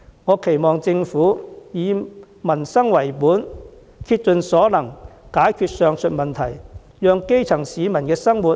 我期望政府以民生為本，竭盡所能解決上述問題，讓基層市民的生活得以改善。